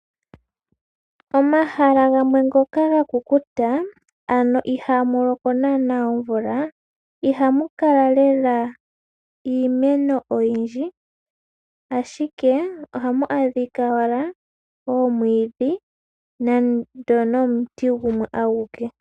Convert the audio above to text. Omahala gamwe ngoka gakukuta, ano ihaamu loko naana omvula, ihamu kala lela iimeno oyindji, ashike ohamu adhika owala omwiidhi, nenge nomuti gumwe aguke.